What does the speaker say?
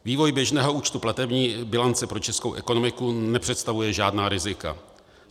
Vývoj běžného účtu platební bilance pro českou ekonomiku nepředstavuje žádná rizika.